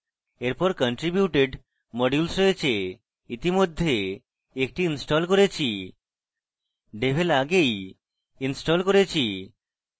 এরপর contributed modules রয়েছে ইতিমধ্যে একটি ইনস্টল করেছি devel আগেই ইনস্টল করেছি